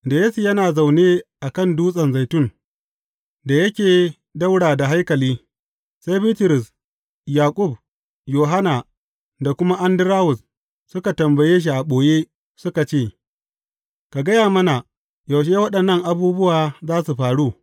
Da Yesu yana zaune a kan Dutsen Zaitun da yake ɗaura da haikali, sai Bitrus, Yaƙub, Yohanna da kuma Andarawus, suka tambaye shi a ɓoye, suka ce, Ka gaya mana, yaushe waɗannan abubuwa za su faru?